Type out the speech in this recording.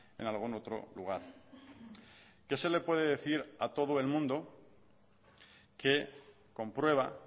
en algún otro lugar qué se le puede decir a todo el mundo que comprueba